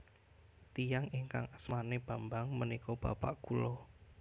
Tiyang ingkang asmane Bambang menika bapak kula